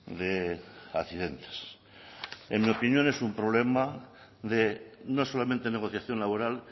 de accidentes en mi opinión es un problema de no solamente negociación laboral